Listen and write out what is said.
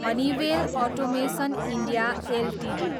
Honeywell automation India Ltd